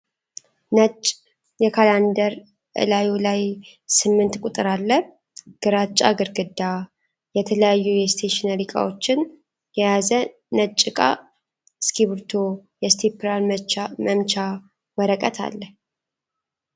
ነጭ የካላንደር እላዩ ላይ ስምንት ቁጥር አለ ፤ ግራጫ ግርግዳ ፤ የተለያዩ የእስቴሽነሪ እቃዎችን የያዘ ነጭ እቃ እስኪብሪቶ የእስቴፕላር መምቻ ፣ ወረቀት አለ